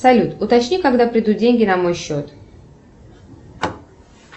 салют уточни когда придут деньги на мой счет